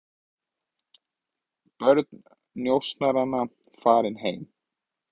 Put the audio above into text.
Börn njósnaranna farin heim